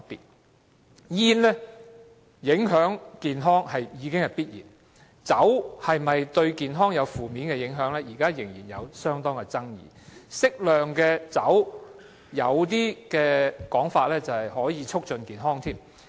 吸煙影響健康是必然的，但喝酒會否造成負面健康影響，現時仍有相當大的爭議，更有說法指適量喝酒可以促進健康。